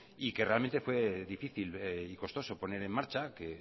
y que realmente fue difícil y costoso poner en marcha que